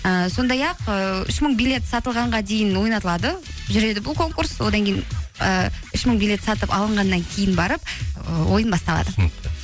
ііі сондай ақ ііі үш мың билет сатылғанға дейін ойнатылады жүреді бұл конкурс одан кейін ііі үш мың билет сатып алынғаннан кейін барып ы ойын басталады түсінікті